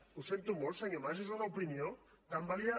ho sento molt senyor mas és una opinió tan vàlida